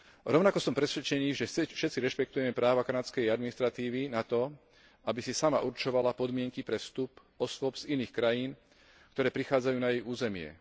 Rovnako som presvedčený, že všetci rešpektujeme práva kanadskej administratívy na to, aby si sama určovala podmienky pre vstup osôb z iných krajín, ktoré prichádzajú na jej územie.